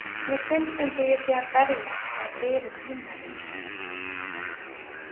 Mér finnst eins og ég sé að berja að dyrum himnaríkis.